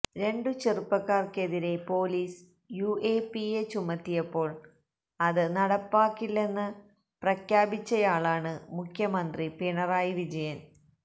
രണ്ടു ചെറുപ്പക്കാര്ക്കെതിരെ police UAPA ചുമത്തിയപ്പോള് അത് നടപ്പിലാക്കില്ലെന്ന് പ്രഖ്യാപിച്ചയാളാണ് മുഖ്യമന്ത്രി പിണറായി വിജയന്